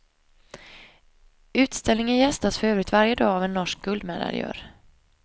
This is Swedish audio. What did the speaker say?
Utställningen gästas för övrigt varje dag av en norsk guldmedaljör.